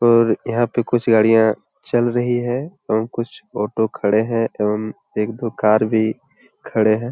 और यहां पे कुछ गाड़ियां चल रही है एवं कुछ ऑटो खड़े है एवं एक दो कार भी खड़े हैं।